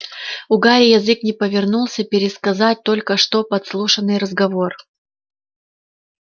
у гарри язык не повернулся пересказать только что подслушанный разговор